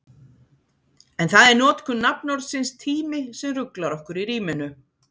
En það er notkun nafnorðsins tími sem ruglar okkur í ríminu.